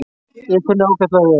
Ég kunni ágætlega við hann.